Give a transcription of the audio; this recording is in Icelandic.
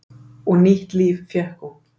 Og nýtt líf fékk hún.